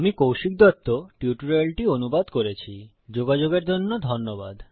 আমি কৌশিক দত্ত টিউটোরিয়ালটি অনুবাদ করেছি যোগাযোগের জন্য ধন্যবাদ